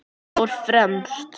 Vala stóð fremst.